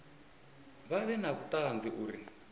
vha vhe na vhuṱanzi uri